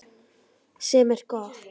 Sem er gott.